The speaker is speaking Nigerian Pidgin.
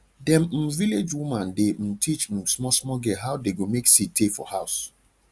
dem um village woman dey um teach um small small girl how dey go make seed tey for house